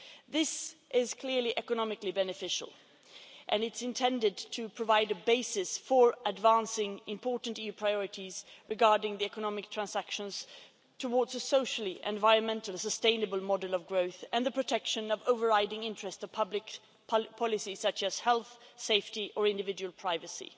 This is clearly economically beneficial and it is intended to provide a basis for advancing important EU priorities regarding the economic transition towards a socially and environmentally sustainable model of growth and the protection of areas of overriding interest to public policy, such as health, safety and individual privacy.